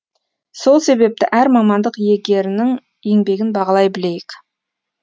сол себепті әр мамандық иегерінің еңбегін бағалай білейік